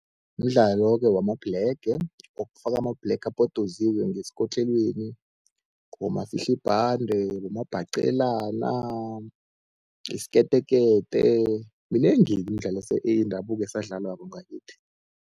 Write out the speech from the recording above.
Mdlalo-ke wamabhlege okufaka amabhlege abhodoziwe ngesikotlelweni, bomafihla ibhande, bomabhaqelana, isiketekete, minengi-ke imidlalo yendabuko esadlalwako ngakithi.